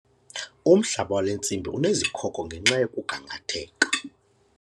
Umhlaba wale ntsimi unezikhoko ngenxa yokugangatheka.